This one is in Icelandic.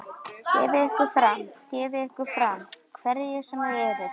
Gefið ykkur fram, gefið ykkur fram, hverjir sem þið eruð.